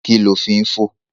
Kí ni o fín fò?